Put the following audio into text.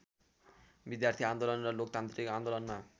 विद्यार्थी आन्दोलन र लोकतान्त्रिक आन्दोलनमा